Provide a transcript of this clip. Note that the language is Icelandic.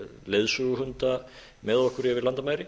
leiðsöguhunda með okkur yfir landamæri